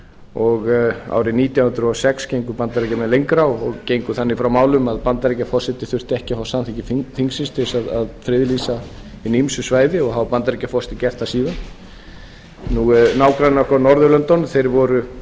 og árið nítján hundruð og sex gengu bandaríkjamenn lengra og gengu þannig frá málum að bandaríkjaforseti þurfti ekki að fá samþykki þingsins til þess að friðlýsa hin ýmsu svæði og hafa bandaríkjaforseti gert það síðan nágrannar okkar á